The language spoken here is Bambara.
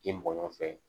I mɔgɔ nɔfɛ